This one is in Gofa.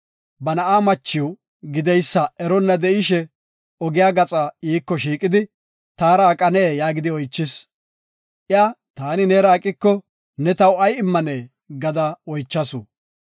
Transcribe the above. Ba na7aa machiw gideysa eronna de7ishe, ogiya gaxa iiko shiiqidi “Taara aqanee?” yaagidi oychis. Iya, “Taani neera aqiko, ne taw ay immanee?” gada oychasu.